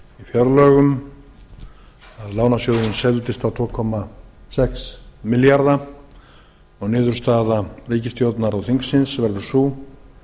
fjárlögum lánasjóðurinn seldist á tvö komma sex milljarða og niðurstaða ríkisstjórnar og þingsins var sú